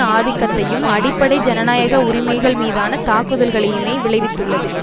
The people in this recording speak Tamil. ஆதிக்கத்தையும் அடிப்படை ஜனநாயக உரிமைகள் மீதான தாக்குதல்களையுமே விளைவித்துள்ளது